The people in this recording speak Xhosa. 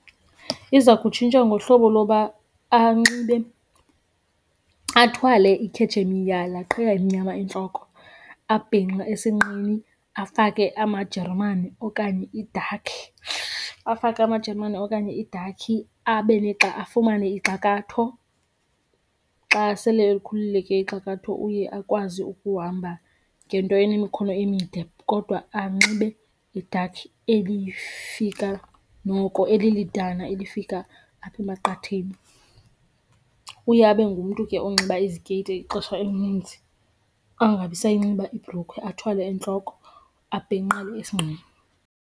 Iza kutshintshwa ngohlobo loba anxibe, athwale ikhetshemiya, laa qhiya imnyama entloko, abhinqe esinqeni afake amajerumani okanye idakhi, afake amajerumane okanye idakhi, abe negxa, afumane ixakatho. Xa sele elikhulule ke ixakatho uye akwazi ukuhamba ngento enemikhono emide kodwa anxibe idakhi elifika noko elilidana elifika apha emaqatheni. Uye abe ngumntu ke onxiba izikeyiti ixesha elininzi angabi sayinxiba ibhrukhwe, athwale entloko abhinqe esinqeni.